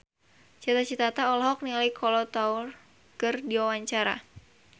Cita Citata olohok ningali Kolo Taure keur diwawancara